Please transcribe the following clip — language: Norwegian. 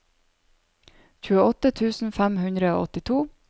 tjueåtte tusen fem hundre og åttito